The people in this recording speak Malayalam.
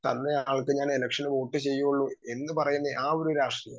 സ്പീക്കർ 2 തന്നയാൾക്ക് ഞാൻ എലെക്ഷന് വോട്ട് ചെയ്യുവൊള്ളൂ എന്നുപറയുന്ന ആ ഒരു രാഷ്ട്രീയം